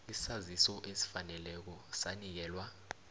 isaziso esifaneleko sanikelwa